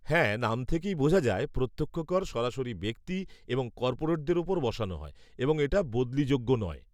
হ্যাঁ, নাম থেকেই বোঝা যায়, প্রত্যক্ষ কর সরাসরি ব্যক্তি এবং কর্পোরেটদের উপর বসানো হয় এবং এটা বদলিযোগ্য নয়।